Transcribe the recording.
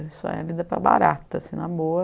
Isso é vida para barata, assim, na boa.